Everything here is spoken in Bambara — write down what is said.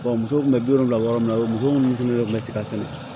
musow kun bɛ bi wɔɔrɔ yɔrɔ min na o muso minnu tun bɛ yɔrɔ min na ten ka sɛnɛ